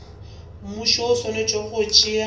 mmušo o swanetše go tšea